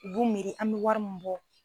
U b'u miiri an bɛ wari min bɔ.